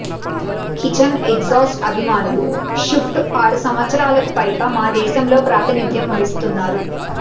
kitchen exhaust అభిమానులు షుఫ్ట్ ఆరు సంవత్సరాలకు పైగా మా దేశంలో ప్రాతినిధ్యం వహిస్తున్నారు